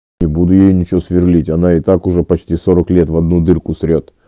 не буду я ничего сверлить она и так уже почти сорок лет в одну дырку срёт